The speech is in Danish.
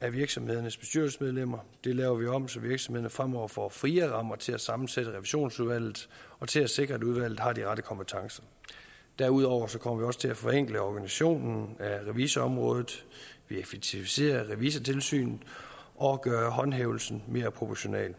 af virksomhedernes bestyrelsesmedlemmer det laver vi om så virksomhederne fremover får friere rammer til at sammensætte revisionsudvalget og til at sikre at udvalget har de rette kompetencer derudover kommer vi også til at forenkle organisationen af revisorområdet vi effektiviserer revisortilsynet og gør håndhævelsen mere proportional